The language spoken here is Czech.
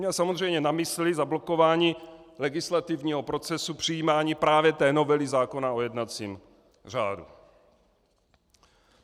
Měl samozřejmě na mysli zablokování legislativního procesu přijímání právě té novely zákona o jednacím řádu.